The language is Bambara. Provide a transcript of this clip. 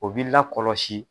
O b'i la kɔlɔsi